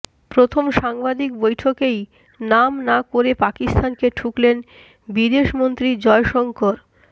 প্রথম সাংবাদিক বৈঠকেই নাম না করে পাকিস্তানকে ঠুকলেন বিদেশমন্ত্রী জয়শঙ্কর